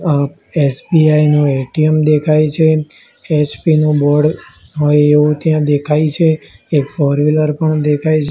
અ SBI નું ATM દેખાય છે એચ_પી નું બોર્ડ હોય એવું ત્યાં દેખાય છે એક ફોરવીલર પણ દેખાય--